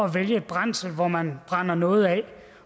vælge brændsel hvor man brænder noget af